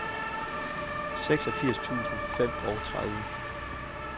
seksogfirs tusind og femogtredive